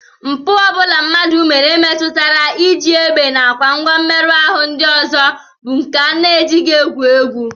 Mpụ ọ bụla mmadụ mere metụtara iji egbe nakwa ngwa mmerụ ahụ ndị ọzọ bụ nke e jighị egwu egwu